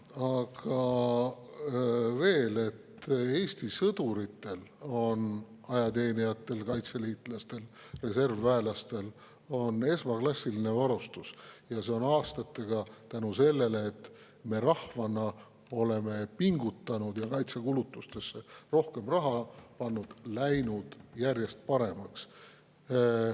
Aga veel, Eesti sõduritel, ajateenijatel, kaitseliitlastel, reservväelastel on esmaklassiline varustus ja tänu sellele, et me rahvana oleme pingutanud ja kaitsekulutustesse rohkem raha pannud, on see läinud aastatega järjest paremaks.